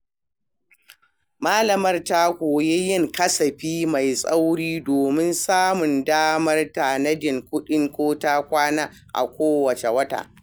Malamar ta koyi yin kasafi mai tsauri domin samun damar tanadin kudin ko-takwana a kowane wata.